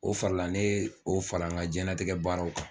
O farala ne o farala n ka diɲɛlatigɛ baaraw kan.